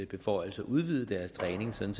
beføjelser udvide dens træning sådan